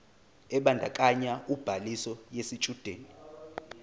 ebandakanya ubhaliso yesitshudeni